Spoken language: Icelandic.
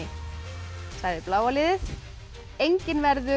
sagði bláa liðið enginn verður